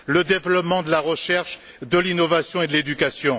le développement de la recherche, de l'innovation et de l'éducation.